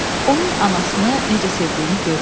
Onun anasını necə sevdiyini görürsüz.